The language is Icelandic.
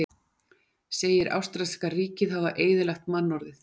Segir ástralska ríkið hafa eyðilagt mannorðið